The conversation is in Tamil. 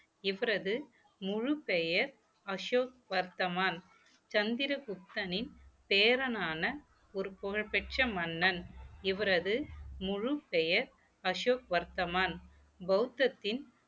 இவரது முழுப்பெயர் அசோக் வர்த்தமான் சந்திரகுப்தனின் பேரனான ஒரு புகழ்பெற்ற மன்னன் இவரது முழுப்பெயர் அசோக் வர்த்தமான் பௌத்தத்தின்